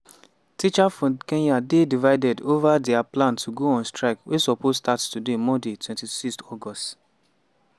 teachers for kenya dey divided ova dia plan to go on strike wey suppose start today monday 26 august.